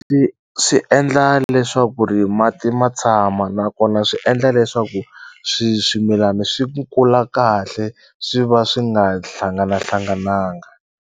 swi endla leswaku ri mati ma tshama nakona swi endla leswaku swi swimilani swi ku kula kahle swi va swi nga hlanganahlangananga.